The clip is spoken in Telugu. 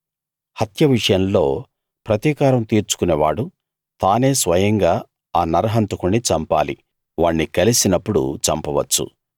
హత్య విషయంలో ప్రతికారం తీర్చుకునే వాడు తానే స్వయంగా ఆ నరహంతకుణ్ణి చంపాలి వాణ్ణి కలిసినప్పుడు చంపవచ్చు